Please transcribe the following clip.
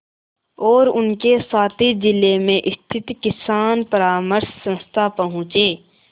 और उनके साथी जिले में स्थित किसान परामर्श संस्था पहुँचे